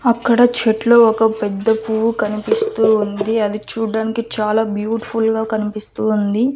అక్కడ చెట్లు ఒక పెద్ద పువ్వు కనిపిస్తూ ఉంది అది చూడడానికి చాలా బ్యూటిఫుల్ గా కనిపిస్తూ ఉంది.